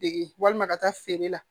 Dege walima ka taa feere la